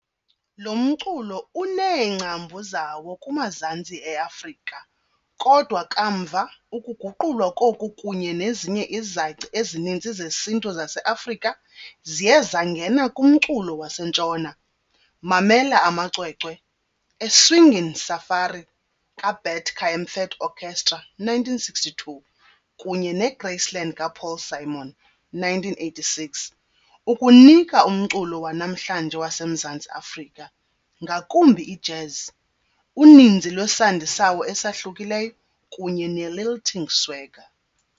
Lo mculo uneengcambu zawo kumazantsi e-Afrika kodwa kamva ukuguqulwa koku kunye nezinye izaci ezininzi zesintu zase-Afrika ziye zangena kumculo waseNtshona mamela amacwecwe, A Swingin' Safari, kaBert Kaempfert Orchestra, 1962, kunye neGraceland kaPaul Simon, 1986, ukunika umculo wanamhlanje waseMzantsi Afrika, ngakumbi i-jazz, uninzi lwesandi sawo esahlukileyo kunye ne-lilting swagger.